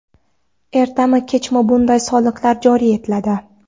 Ertami-kechmi bunday soliqlar joriy etiladi.